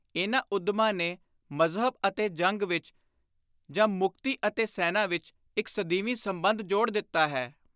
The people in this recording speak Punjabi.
ਇਨ੍ਹਾਂ ਉੱਦਮਾਂ ਨੇ ਮਜ਼ਹਬ ਅਤੇ ਜੰਗ ਵਿਚ ਜਾਂ ਮੁਕਤੀ ਅਤੇ ਸੈਨਾ ਵਿਚ ਇਕ ਸਦੀਵੀ ਸੰਬੰਧ ਜੋੜ ਦਿੱਤਾ ਹੈ।